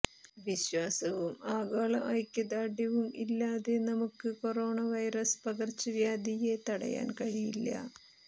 വിശ്വാസവും ആഗോള ഐക്യദാർഢ്യവും ഇല്ലാതെ നമുക്ക് കൊറോണ വൈറസ് പകർച്ചവ്യാധിയെ തടയാൻ കഴിയില്ല